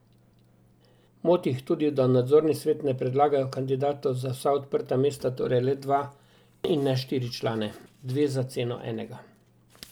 Moti jih tudi, da v nadzorni svet ne predlagajo kandidatov za vsa odprta mesta, torej le dva, in ne štiri člane.